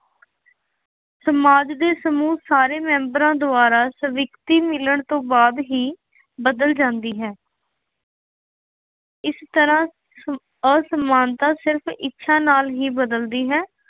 ਸਮਾਜ ਦੇ ਸਮੂਹ ਸਾਰੇ ਮੈਂਬਰਾਂ ਦੁਆਰਾ ਸਵੀਕ੍ਰਿਤੀ ਮਿਲਣ ਤੋਂ ਬਾਅਦ ਹੀ ਬਦਲ ਜਾਂਦੇ ਹੈ। ਇਸ ਤਰ੍ਹਾਂ ਅਸਮਾਨਤਾ ਸਿਰਫ ਇੱਛਾ ਨਾਲ ਹੀ ਬਦਲਦੀ ਹੈ।